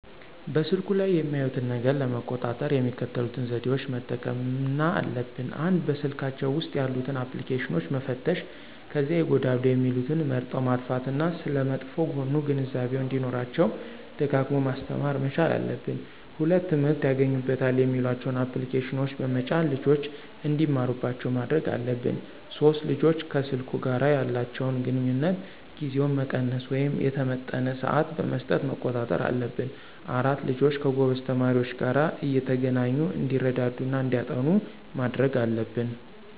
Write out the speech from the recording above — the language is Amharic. በስልኩ ላይ የሚያዩትን ነገር ለመቆጣጠር የሚከተሉትን ዘዴዎች መጠቀምና አለብን፦ ፩) በስልካቸው ውስጥ ያሉትን አፕልኬሽኖች መፈተሽ ከዚያ ይጎዳሉ የሚሉትን መርጠው ማጥፋት እና ስለመጥፎ ጎኑ ግንዛቤው እንዲኖራቸው ደጋግሞ ማስተማር መቻል አለብን። ፪) ትምህርት ያገኙበታል የሚሏቸውን አፕልኬሽኖች በመጫን ልጆች እንዲማሩባቸው ማድረግ አለብን። ፫) ልጆች ከሰልኩ ጋር ያላቸውን ግንኙነት ጊዜውን መቀነስ ወይም የተመጠነ ስዓት በመስጠት መቆጣጠር አለብን። ፬) ልጆች ከጎበዝ ተማሪዎች ጋር እየተገናኙ እንዲረዳዱ እና እንዲያጠኑ ማድረግ አለብን